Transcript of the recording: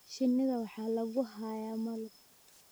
Shinnida waxaa lagu hayaa malab.